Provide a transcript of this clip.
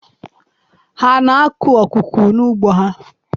Ha na-akụ akụkụ n'ugbo ha?